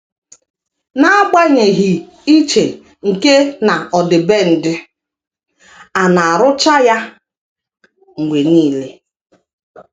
N’agbanyeghị iche nke na ọdịbendị, a na - arụcha ya mgbe nile. ”